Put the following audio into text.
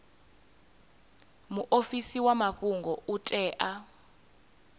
muofisi wa mafhungo u tea